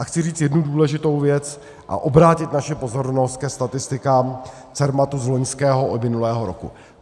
A chci říct jednu důležitou věc a obrátit naši pozornost ke statistikám Cermatu z loňského a minulého roku.